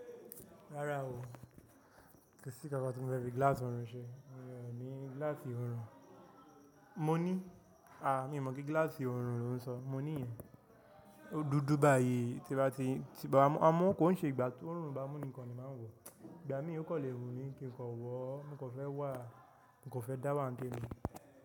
Rárá o, kòsí kankan tí mo fẹ́ fi gíláàsì ọ̀rùn ṣe? Mi ò ní gíláàsì ọ̀rùn. Mo ní, a, mi mọ̀ pé gíláàsì ọ̀rùn lò ń sọ, mo ní ìyẹn. Ó dúdú báyìí tí bá ti, tí bàbá ọmọ, ọmọ kò ń ṣe ìgbà tó ọ̀rùn bá mú ni nìkan ni máa ń wọ̀. Ìgbà mí ò kò lè wùn mí kí n kọ wọ̀ ó, mo kò fẹ́ wà á, mo kò fẹ́ dáwà nítèmi.